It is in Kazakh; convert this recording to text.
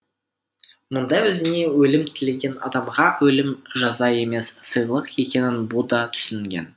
мұндай өзіне өлім тілеген адамға өлім жаза емес сыйлық екенін бұ да түсінген